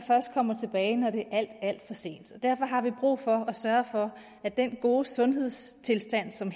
kommer tilbage når det er alt alt for sent derfor har vi brug for at sørge for at den gode sundhedstilstand som